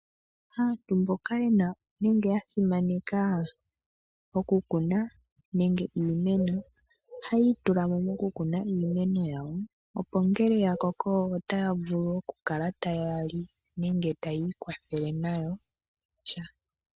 Aantu mboka ye na nenge ya simaneka okukuna iimeno ohayi itula mo mokukuna iimeno yawo opo ngele ya koko otaya vulu okukala taya li nenge tayi ikwathele nayo.